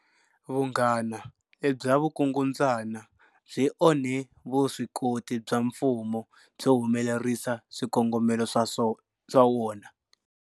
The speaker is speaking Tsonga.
Vunghana lebya vukungundzwana byi onhe vuswikoti bya mfumo byo humelerisa swikongomelo swa wona.